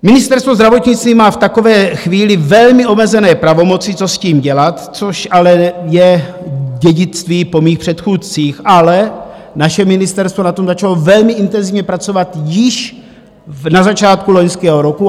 Ministerstvo zdravotnictví má v takové chvíli velmi omezené pravomoci, co s tím dělat, což ale je dědictví po mých předchůdcích, ale naše ministerstvo na tom začalo velmi intenzivně pracovat již na začátku loňského roku.